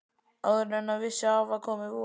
Áður en hann vissi af var komið vor.